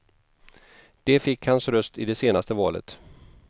De fick hans röst i det senaste valet.